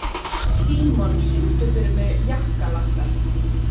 Tímon, syngdu fyrir mig „Jakkalakkar“.